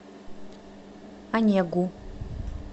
онегу